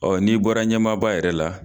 Ɔ n'i bɔra ɲɛmaaba yɛrɛ la